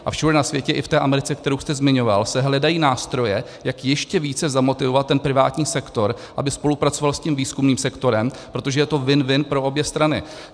A všude na světě, i v té Americe, kterou jste zmiňoval, se hledají nástroje, jak ještě více zamotivovat privátní sektor, aby spolupracoval s tím výzkumným sektorem, protože je to win-win pro obě strany.